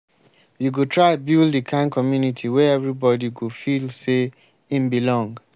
we go try build di kind community wey everybodi go feel sey im belong.